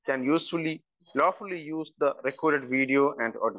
Speaker 1 can usefully low fully use the record video and audio.